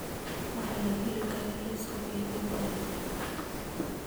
waxa laga heli karo liiska kaydintaada